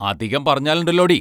അതികം പറഞ്ഞാലൊണ്ടല്ലോടീ?